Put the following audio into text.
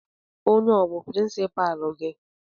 Ònye a ọ bú pirinsipaalu gị?